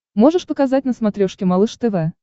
можешь показать на смотрешке малыш тв